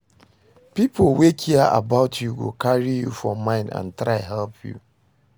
Pipo wey care about you go carry you for mind and try help you